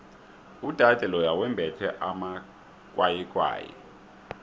udade loya wembethe amakwayikwayi